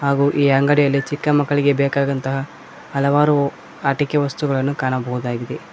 ಹಾಗು ಈ ಅಂಗಡಿಯಲ್ಲಿ ಚಿಕ್ಕ ಮಕ್ಕಳಿಗೆ ಬೇಕಾದಂತಹ ಹಲವಾರು ಆಟಿಕೆ ವಸ್ತುಗಳನ್ನು ಕಾಣಬಹುದಾಗಿದೆ.